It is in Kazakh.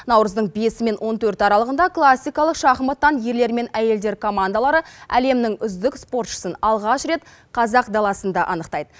наурыздың бесі мен он төрті аралығында классикалық шахматтан ерлер мен әйелдер командалары әлемнің үздік спортшысын алғаш рет қазақ даласында анықтайды